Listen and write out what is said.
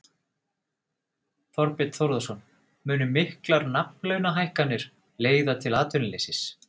Þorbjörn Þórðarson: Munu miklar nafnlaunahækkanir leiða til atvinnuleysis?